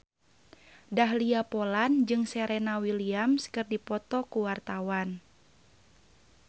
Dahlia Poland jeung Serena Williams keur dipoto ku wartawan